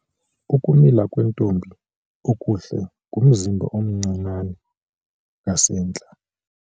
Ukumila kwentombi okuhle ngumzimba omncinane ngasentla.